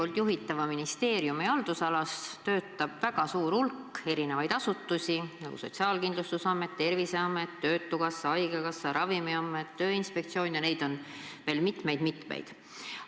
Teie juhitava ministeeriumi haldusalas töötab väga suur hulk asutusi, nagu Sotsiaalkindlustusamet, Terviseamet, töötukassa, haigekassa, Ravimiamet, Tööinspektsioon, ja neid on veel mitmeid-mitmeid.